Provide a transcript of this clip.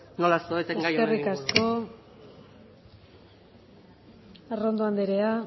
nola zaudeten gai honen inguruan eskerrik asko arrondo anderea